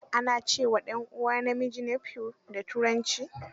Ana ce wa ɗan ɗanuwa namiji nephew da Turanci.